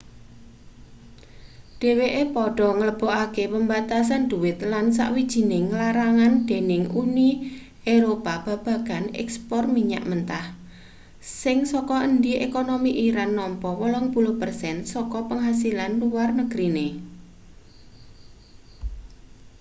dheweke padha nglebokake pembatasan dhuwit lan sawijining larangan dening uni eropa babagan ekspor minyak mentah sing saka endi ekonomi iran nampa 80% saka penghasilan luar negrine